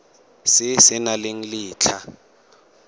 se se nang le letlha